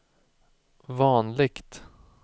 vanligt